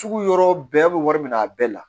Sugu yɔrɔ bɛɛ bɛ wari minɛ a bɛɛ la